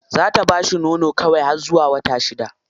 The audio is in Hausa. Za ta bashi nono kawai har zuwa wata shida.